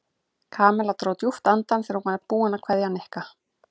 Kamilla dró djúpt andann þegar hún var búin að kveðja Nikka.